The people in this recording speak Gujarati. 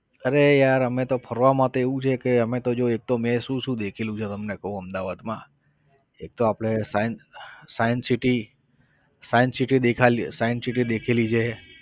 અરે યાર અમે તો ફરવામાં તો એવું છે કે અમે તો જો એક તો મેં શું શું દેખેલું છે તમને કહું અમદાવાદમાં, એક તો આપણે science science city science city દેખેલી science city દેખેલી છે.